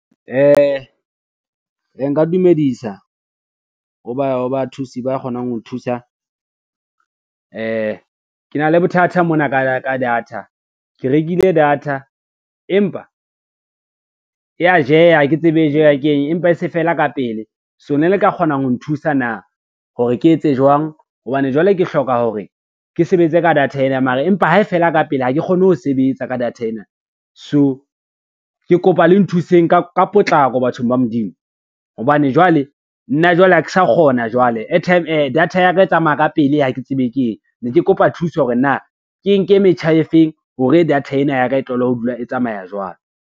Nka dumedisa, ho bathusi ba kgonang ho thusa. Ke na le bothata mona ka data, ke rekile data empa ya jeha ha ke tsebe jeha keng empa e se fela ka pele, so ne le ka kgona ho nthusa na, hore ke etse jwang hobane jwale ke hloka hore ke sebetse ka data ena mara, empa ha e fela ka ha ke kgone ho sebetsa ka data ena. So ke kopa le nthuseng ka potlako bathong ba Modimo, hobane jwale nna jwale ha ke sa kgona jwale data ya ka e tsamaya ka pele ha ke tsebe keng, ne ke kopa thuso hore na ke nke metjha e feng hore data ena ya ka e tlohele ho dula e tsamaya jwalo.